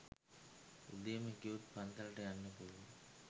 උදේම ගියොත් පන්සලට යන්න පුලුවන්